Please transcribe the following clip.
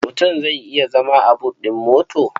Mutum zai iya zama a but ɗin mota.